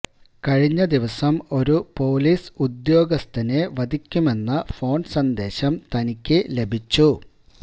കഴിഞ്ഞ ദിവസം ഒരു പോലിസ് ഉദ്യോഗസ്ഥനെ വധിക്കുമെന്ന ഫോണ് സന്ദേശം തനിക്ക് ലഭിച്ചു